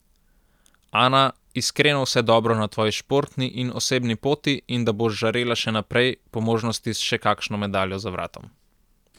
Ana, iskreno vse dobro na tvoji športni in osebni poti in da boš žarela še naprej, po možnosti s še kakšno medaljo za vratom.